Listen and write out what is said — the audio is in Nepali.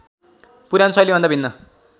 पुरानो शैलीभन्दा भिन्न